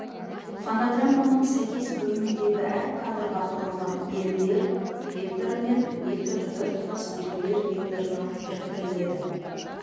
фонограмманың сәйкес бөліміндегі әр кадрға құрылған белгілер векторы мен -вектор біртұтас белгілер векторына біріктіріледі